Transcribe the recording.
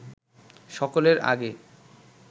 সকলের আগে